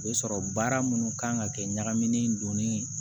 U bɛ sɔrɔ baara minnu kan ka kɛ ɲagamin donnen